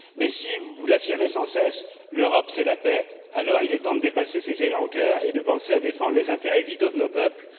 Mais si comme vous l'affirmez sans cesse l'Europe c'est la paix, alors il est temps de dépasser ces vieilles rancœurs et de penser à défendre les intérêts vitaux de nos peuples.